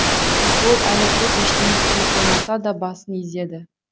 ол әлі көп ештеңе түсіне қоймаса да басын изеді